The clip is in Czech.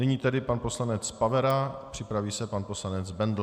Nyní tedy pan poslanec Pavera, připraví se pan poslanec Bendl.